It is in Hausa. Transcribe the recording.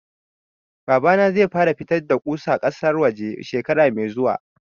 Babana zai fara fitar da ƙusa ƙasar waje shekara mai zuwa